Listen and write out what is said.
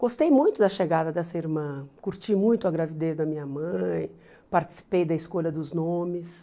Gostei muito da chegada dessa irmã, curti muito a gravidez da minha mãe, participei da escolha dos nomes.